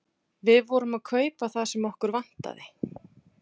Við vorum að kaupa það sem okkur vantaði.